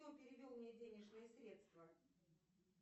кто перевел мне денежные средства